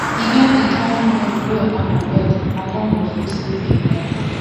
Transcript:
e get di kain dream wey i go get i no go fit sleep again